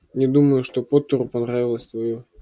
не думаю что поттеру понравилось твоё